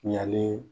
Ɲaani